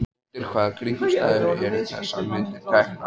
En undir hvaða kringumstæðum eru þessar myndir teknar?